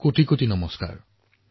জনসাধাৰণক শুভেচ্ছা জনাইছো